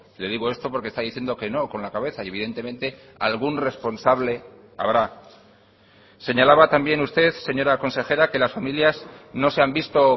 le digo esto porque está diciendo que no con la cabeza y evidentemente algún responsable habrá señalaba también usted señora consejera que las familias no se han visto